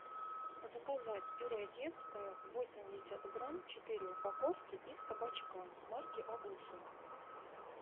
заказать пюре детское восемьдесят грамм четыре упаковки из кабачка марки агуша